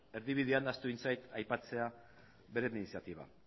erdibidean ahaztu egin zait aipatzea bere iniziatiba